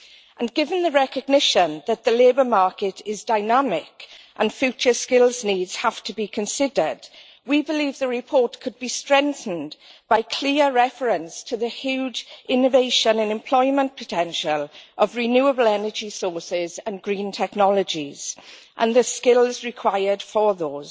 And given the recognition that the labour market is dynamic and future skills needs have to be considered, we believe the report could be strengthened by clear reference to the huge innovation and employment potential of renewable energy sources and green technologies and the skills required for those.